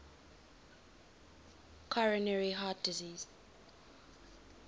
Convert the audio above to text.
coronary heart disease